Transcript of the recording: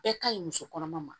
Bɛɛ ka ɲi muso kɔnɔma ma